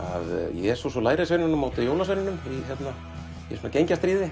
Jesús og lærisveinunum á móti jólasveinunum í svona